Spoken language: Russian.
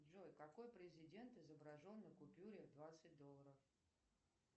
джой какой президент изображен на купюре двадцать долларов